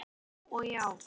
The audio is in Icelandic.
Já og já!